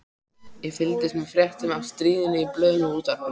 Ég fylgdist með fréttum af stríðinu í blöðunum og útvarpinu.